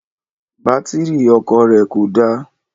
Bátírì ọkọ̀ rẹ̀ kò dá